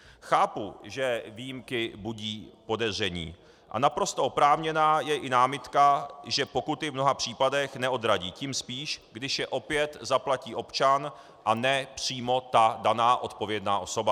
Chápu, že výjimky budí podezření, a naprosto oprávněná je i námitka, že pokuty v mnoha případech neodradí, tím spíš, když je opět zaplatí občan a ne přímo ta daná odpovědná osoba.